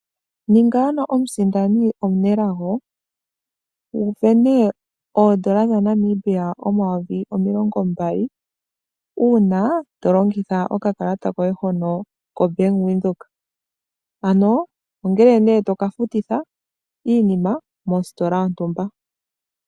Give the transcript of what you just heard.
Ninga ano omu sindani omu nelago wuvene oondola dha Namibia omilongo mbali, uuna to longitha oka kalata koye hono ko bank Windhoek. Ano, ongele nee toka futitha iinima mositola yontumba.